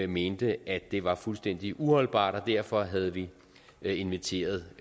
mente at det var fuldstændig uholdbart og derfor havde vi inviteret